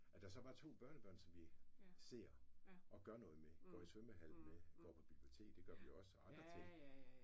At der så var 2 børnebørn som vi ser og gør noget med. Går i svømmhallen med går på biblioteket det gør vi også og andre ting